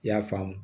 I y'a faamu